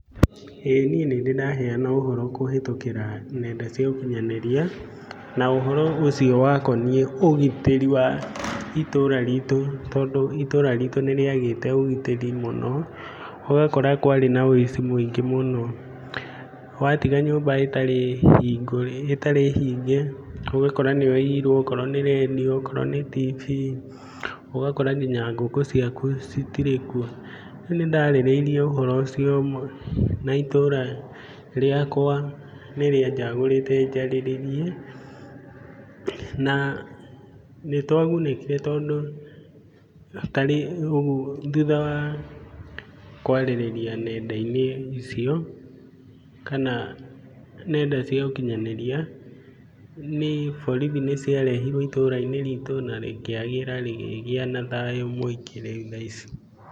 Ĩĩ niĩ nĩ ndĩ ndaheana ũhoro kũhĩtũkĩra nenda cia ũkinyanĩria, na ũhoro ũcio wakoniĩ ũgitĩri wa itũũra ritũ tondũ, itũũra riitũ nĩ rĩagĩte ũgitĩrĩ mũno, ũgakora itũũra riitũ riarĩ na ũici mũingĩ mũno, watiga nyũmba ĩtarĩ hinge ũgakora nĩ ũirwo, okorwo nĩ rendio ,okorwo nĩ TV ũgakora nginya ngũkũ ciaku citirĩkuo .Rĩu nĩ ndariĩrĩirie ũhoro ũcio na itũũra rĩakwa nĩ rĩanjagũrĩte njarĩrĩrie. Na nĩ twagunĩkire tondũ, thutha wa kwarĩrĩria nendai-inĩ icio kana nenda cia ũkinyanĩria, boritho nĩ ciarehirwo itũũrai-ini riitũ na rĩkĩagĩra rĩkĩgĩa na thayu mũingĩ rĩu.